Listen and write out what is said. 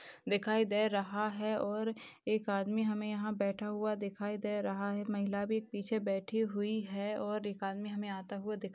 दिखाई दे रहा है और एक आदमी हमे यहा बैठा हुआ दिखाई दे रहा है महिला भी पीछे बैठी हुई है और एक आदमी हमे आता हुआ --